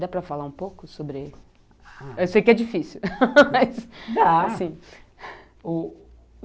Dá para falar um pouco sobre... Eu sei que é difícil, mas... Dá.